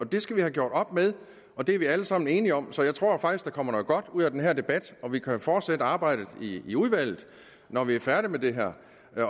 det skal vi have gjort op med og det er vi alle sammen enige om så jeg tror faktisk at der kommer noget godt ud af den her debat og at vi kan fortsætte arbejdet i i udvalget når vi er færdige med det her